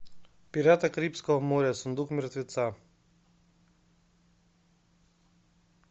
пираты карибского моря сундук мертвеца